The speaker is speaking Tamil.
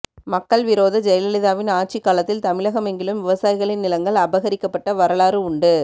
மக்கள் விரோத ஜெயலலிதாவின் ஆட்சிக்காலத்தில் தமிழகமெங்கிலும் விவசாயிகளின் நிலங்கள் அபகரிக்கபப்ட்ட வரலாறு உண்டு